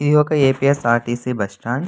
ఇది ఒక A _P _R_ T_ C bus stand --